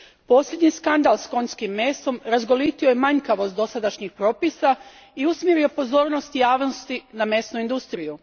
Posljednji skandal s konjskim mesom razgolitio je manjkavost dosadašnjih propisa i usmjerio pozornost javnosti na mesnu industriju.